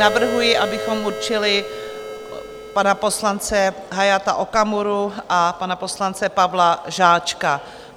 Navrhuji, abychom určili pana poslance Hayata Okamuru a pana poslance Pavla Žáčka.